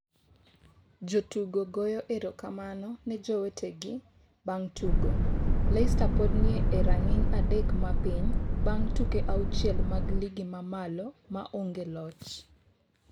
Jotugo goyo erokamano ne jowetegi bang' tugo Leicester pod ni e rang'iny adek ma piny bang' tuke auchiel mag ligi ma malo ma onge loch.